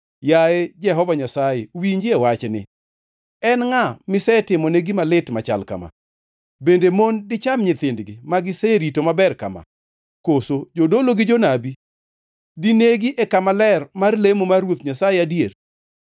Yaye Jehova Nyasaye winjie wachni: En ngʼa misetimone gima lit machal kama? Bende mon dicham nyithindgi ma giserito maber kama? Koso jodolo gi jonabi dinegi e kama ler mar lemo mar Ruoth Nyasaye adier?